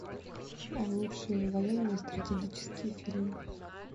лучшие военные стратегические фильмы